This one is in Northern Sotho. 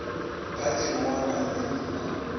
phathing go na le dino